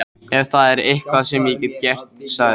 Ef það er eitthvað sem ég get gert sagði